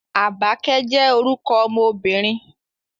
Àbákẹ́ jẹ́ orúkọ ọmọ obìnrin